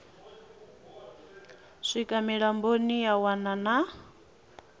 swika mulamboni ya wana na